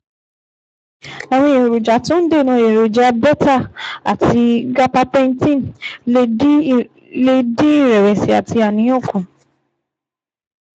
Àwọn èròjà tó ń dènà èròjà beta àti gabapentine lè dín ìrẹ̀sì àti àníyàn kù